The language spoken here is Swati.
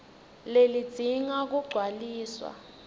leli lidzinga kugcwaliswa